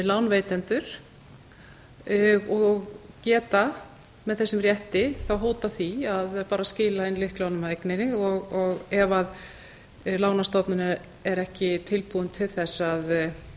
lánveitendur og geta með þessum rétti þá hótað því að bara skila inn lyklunum að eigninni ef lánastofnunin er ekki tilbúin til þess að